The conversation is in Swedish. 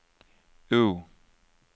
O